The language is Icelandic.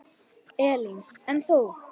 Elín: En þú?